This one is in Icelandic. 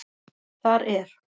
Þar er